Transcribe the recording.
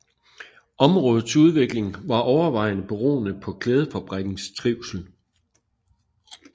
Områdets udvikling var overvejende beroende på klædefabrikkens trivsel